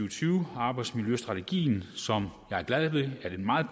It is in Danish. og tyve arbejdsmiljøstrategien som jeg er glad ved at et meget